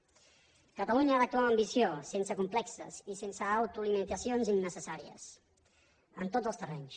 catalunya ha d’actuar amb ambició sense complexos i sense autolimitacions innecessàries en tots els terrenys